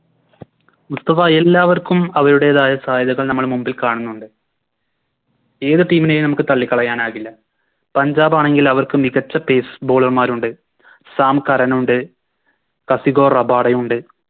മുസ്തഫ എല്ലാവർക്കും അവരുടേതായ സാഹചര്യം നമ്മൾ മുമ്പിൽക്കാണുന്നുണ്ട് ഏത് Team നെയും നമുക്ക് തള്ളിക്കളയാനാകില്ല പഞ്ചാബാണെങ്കിൽ അവർക്ക് മികച്ച Base bowler മാരുണ്ട് സാം കാരനുണ്ട് കഗിസോ റബാഡയുണ്ട്